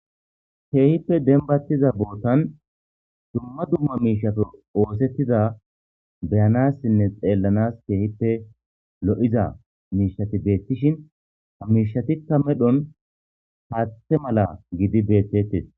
Keehippe dembatiza botan dumma dumma mishat osetiza beyanasine xelanas keehippe lo'za mishat betishn ha mishatika medhon haathe mala gid betetes.